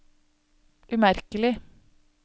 umerkelig